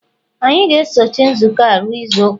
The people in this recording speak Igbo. anyị ga-esochi nzukọ a ruo izu ụka